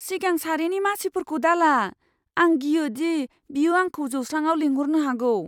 सिगां सारिनि मासिफोरखौ दाला। आं गियोदि बियो आंखौ जौस्राङाव लेंहरनो हागौ।